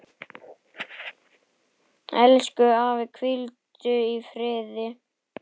Elsku afi, hvíldu í friði.